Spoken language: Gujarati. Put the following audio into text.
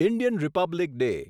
Indian Republic day